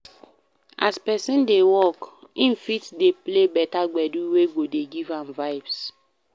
As person dey work, im fit dey play better gbedu wey go dey give am vibes